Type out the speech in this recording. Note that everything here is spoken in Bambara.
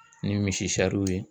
Ni misi sariw ye